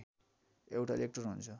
एउटा इलेक्ट्रोन हुन्छ